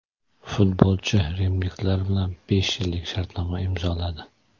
Futbolchi rimliklar bilan besh yillik shartnoma imzoladi.